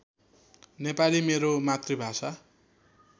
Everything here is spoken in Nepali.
नेपाली मेरो मातृभाषा